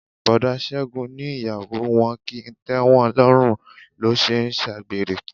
Boda Ségun ní ìyàwó wọn kì í tẹ́wọn lọ́run lọ́ ṣe ń s'agbere.